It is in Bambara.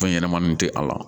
Fɛn ɲɛnɛmani tɛ a la